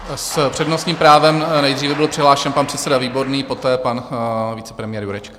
S přednostním právem nejdříve byl přihlášen pan předseda Výborný, poté pan vicepremiér Jurečka.